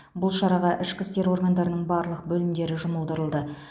бұл шараға ішкі істер органдарының барлық бөлімдері жұмылдырылды